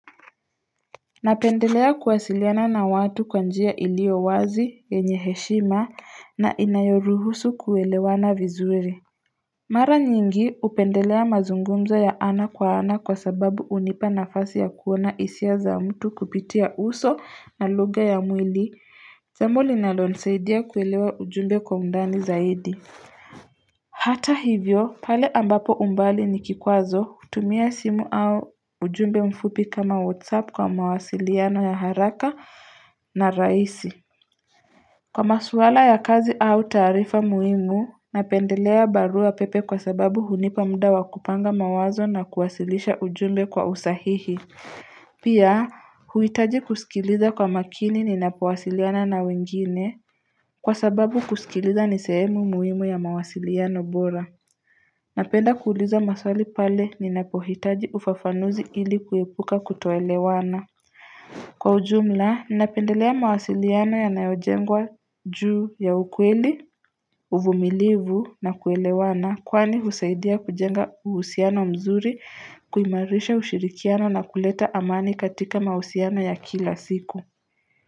Napendelea kuwasiliana na watu kwa njia iliowazi yenye heshima na inayoruhusu kuwelewana vizuri Mara nyingi upendelea mazungumzo ya ana kwa ana kwa sababu unipa nafasi ya kuona hisia za mtu kupitia uso na lugha ya mwili jambo linalonisaidia kuelewa ujumbe kwa undani zaidi Hata hivyo pale ambapo umbali ni kikwazo tumia simu au ujumbe mfupi kama whatsapp kwa mawasiliano ya haraka na raisi Kwa masuala ya kazi au taarifa muimu napendelea barua pepe kwa sababu hunipamda wakupanga mawazo na kuwasilisha ujumbe kwa usahihi Pia huitaji kusikiliza kwa makini ni napowasiliana na wengine Kwa sababu kusikiliza nisehemu muhimu ya mawasiliano bora Napenda kuuliza maswali pale ninapohitaji ufafanuzi ili kuepuka kutoelewana Kwa ujumla, napendelea mawasiliano ya nayojengwa juu ya ukweli, uvumilivu na kuelewana Kwani husaidia kujenga uhusiano mzuri, kuimarisha ushirikiano na kuleta amani katika mahusiano ya kila siku.